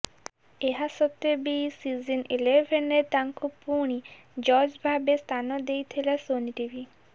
ଏହା ସତ୍ତ୍ବେ ବି ସିଜିନ ଇଲେଭେନରେ ତାଙ୍କୁ ପୁଣି ଜଜ୍ ଭାବେ ସ୍ଥାନ ଦେଇଥିଲା ସୋନି ଟିଭି